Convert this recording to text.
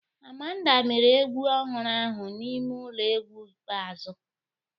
Amanda mere egwu ọhụrụ ahụ n'ime ụlọ egwu ikpeazụ